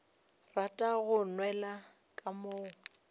rata go nwela ka mo